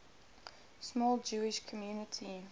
small jewish community